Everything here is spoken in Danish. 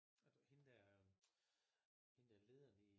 Og du hende der hende der lederen i